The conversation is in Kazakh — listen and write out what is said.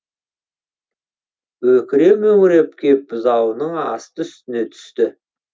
өкіре мөңіреп кеп бұзауының асты үстіне түсті